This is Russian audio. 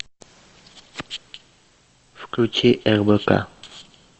включи рбк